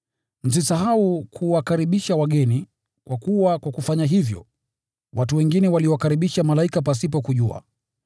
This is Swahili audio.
Msisahau kuwakaribisha wageni, kwa kuwa kwa kufanya hivyo, watu wengine waliwakaribisha malaika pasipo kujua.